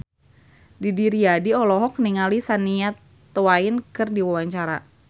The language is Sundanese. Didi Riyadi olohok ningali Shania Twain keur diwawancara